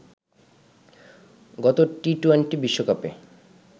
গত টি-টোয়েন্টি বিশ্বকাপে